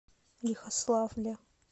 лихославле